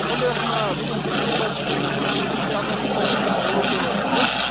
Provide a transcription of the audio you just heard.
сондай ақ мына бүгін мемлекет басшысының жұмыс кестесіне арнайы тоқталып өтейін ол өте тығыз